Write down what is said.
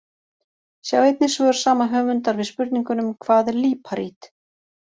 Sjá einnig svör sama höfundar við spurningunum: Hvað er líparít?